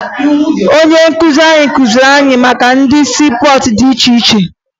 Onye nkụzi kụziri anya maka ụdị siipọọtụ dị iche iche